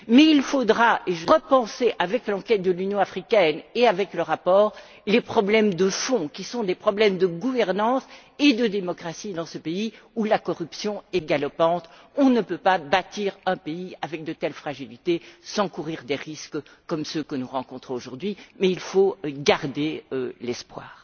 Mais il faudra repenser, avec l'enquête de l'Union africaine et avec le rapport, les problèmes de fond qui sont des problèmes de gouvernance et de démocratie dans ce pays, où la corruption est galopante. On ne peut pas bâtir un pays avec de telles fragilités sans courir de risques, comme ceux que nous rencontrons aujourd'hui. Mais il faut garder espoir.